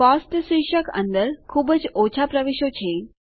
cost શીર્ષક અંદર ખુબ જ ઓછા પ્રવેશો છે